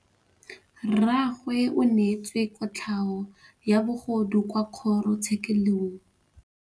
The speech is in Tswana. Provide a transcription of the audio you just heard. Rragwe o neetswe kotlhaô ya bogodu kwa kgoro tshêkêlông.